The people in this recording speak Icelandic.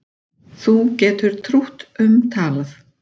Þú getur trútt um talað